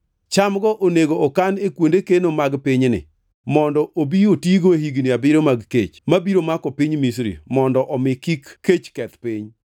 Cham-go onego okan e kuonde keno mag pinyni, mondo obi otigo e higni abiriyo mag kech mabiro mako piny Misri, mondo mi kik kech keth piny.”